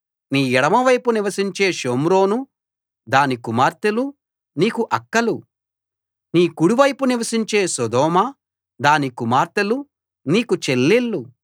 నీ ఎడమవైపు నివసించే షోమ్రోనూ దాని కుమార్తెలూ నీకు అక్కలు నీ కుడివైపు నివసించే సొదొమ దాని కుమార్తెలూ నీకు చెల్లెళ్ళు